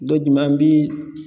Dɔ jumɛn an bi